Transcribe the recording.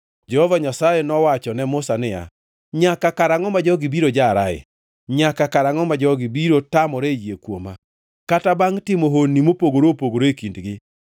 Jehova Nyasaye nowacho ne Musa niya, “Nyaka karangʼo ma jogi biro jarae? Nyaka karangʼo ma jogi biro tamore yie kuoma, kata bangʼ timo honni mopogore opogore e kindgi?